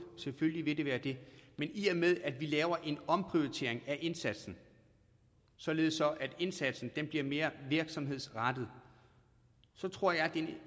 selvfølgelig vil det det men i og med at vi laver en omprioritering af indsatsen således at indsatsen bliver mere virksomhedsrettet så tror jeg at det